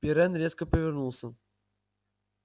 пиренн резко повернулся